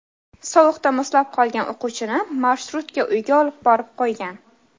Sovuqda muzlab qolgan o‘quvchini marshrutka uyga olib borib qo‘ygan.